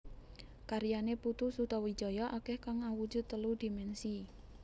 Karyané Putu Sutawijaya akèh kang awujud telu dimènsi